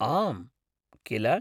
आम्, किल?